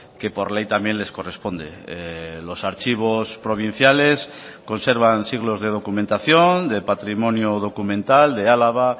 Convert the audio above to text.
que por ley también les corresponde los archivos provinciales conservan siglos de documentación de patrimonio documental de álava